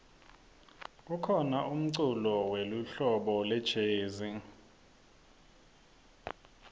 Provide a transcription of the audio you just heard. kukhona umculo welihlobo lejezi